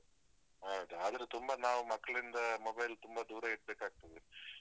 ಹೌದು. ಆದ್ರೆ ತುಂಬ ನಾವು ಮಕ್ಳಿಂದ mobile ತುಂಬ ದೂರ ಇಡ್ಬೇಕಾಗ್ತದೆ.